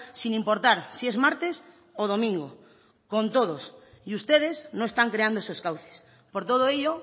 sin importar si es martes o domingo con todos y ustedes no están creando esos cauces por todo ello